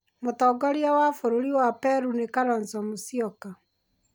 Mũtongoria wa bũrũri wa Peru nĩ Kalonzo Musyoka.